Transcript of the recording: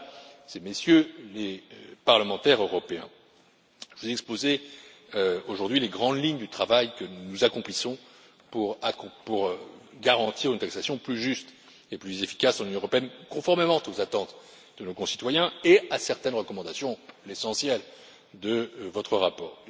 Mesdames et Messieurs les parlementaires européens, je vous ai exposé aujourd'hui les grandes lignes du travail que nous accomplissons pour garantir une taxation plus juste et plus efficace dans l'Union européenne, conformément aux attentes de nos concitoyens et à certaines recommandations l'essentiel de votre rapport.